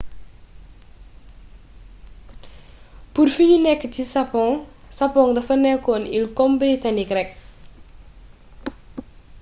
pur fi niu nek nii sapong.sapong defa nekon il kom britanik rek